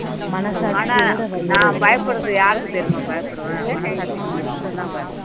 ஆனா நான் பயப்பிடுறது யாருக்கு தெரியுமா பயப்பிடுவேன் மனசாட்சிக்கு மட்டும் தான் பயப்படுவேன்